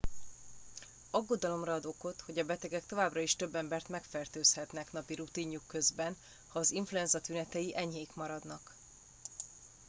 aggodalomra ad okot hogy a betegek továbbra is több embert megfertőzhetnek napi rutinjuk közben ha az influenza tünetei enyhék maradnak